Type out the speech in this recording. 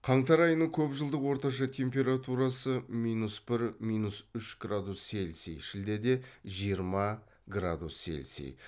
қаңтар айының көп жылдық орташа температурасы минус бір минус үш градус цельсий шілдеде жиырма градус цельсий